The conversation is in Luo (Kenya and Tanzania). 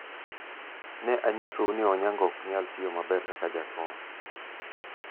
ne anyisou ni Onyango ok nyal tiyo maber kaka jakom